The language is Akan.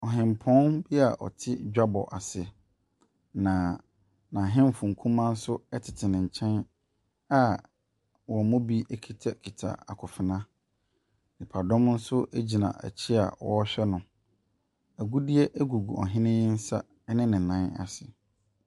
Ɔhempɔn bi ɔte dwabɔ ase, na n’ahemfo nkumaa nso tete ne nkyɛn a wɔn mu bi kitakita akonfena. Nnipadɔm nso gyina akyi a wɔrehwɛ no. Agudeɛ gugu ɔhen yi nsa ne nan ase.